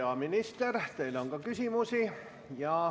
Hea minister, teile on küsimusi.